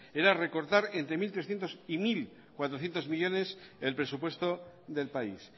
era recortar entre mil trescientos y mil cuatrocientos millónes el presupuesto del país